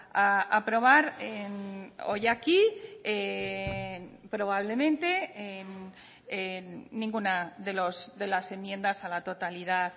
a aprobar hoy aquí probablemente ninguna de las enmiendas a la totalidad